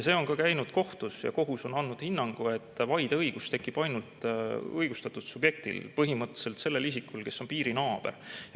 See on ka käinud kohtus ja kohus on andnud hinnangu, et vaideõigus tekib ainult õigustatud subjektil, põhimõtteliselt sellel isikul, kes on piirinaaber.